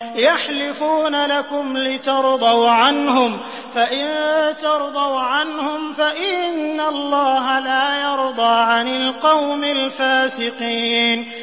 يَحْلِفُونَ لَكُمْ لِتَرْضَوْا عَنْهُمْ ۖ فَإِن تَرْضَوْا عَنْهُمْ فَإِنَّ اللَّهَ لَا يَرْضَىٰ عَنِ الْقَوْمِ الْفَاسِقِينَ